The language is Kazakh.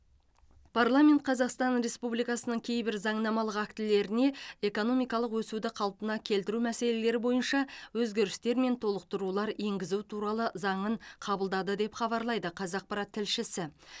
парламент қазақстан республикасының кейбір заңнамалық актілеріне экономикалық өсуді қалпына келтіру мәселелері бойынша өзгерістер мен толықтырулар енгізу туралы заңын қабылдады деп хабарлайды қазақпарат тілшісі